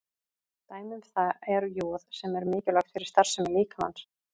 Dæmi um það er joð sem er mikilvægt fyrir starfsemi líkamans.